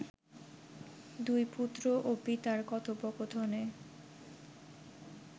দুই পুত্র ও পিতার কথোপকথনে